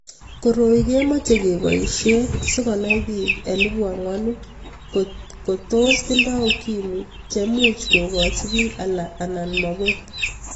Koroi kemeche kepaishe sikonai pik elipu angwan kot ko tos tindoi ukimwi che much ko koch pik alak anan makoi.